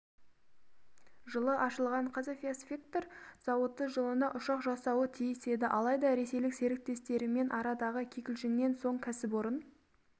жылы ашылған қазавиаспектр зауыты жылына ұшақ жасауы тиіс еді алайда ресейлік серіктестерімен арадағы кикілжіңнен соң кәсіпорын